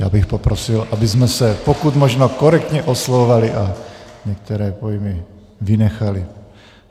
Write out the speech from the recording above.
Já bych prosil, abychom se pokud možno korektně oslovovali a některé pojmy vynechali.